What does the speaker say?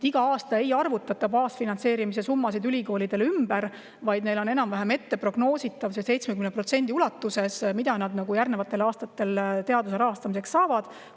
Iga aasta ei arvutata ülikoolide baasfinantseerimise summasid ümber, vaid see on enam-vähem prognoositav, et 70% ulatuses nad järgnevatel aastatel teaduse rahastust saavad.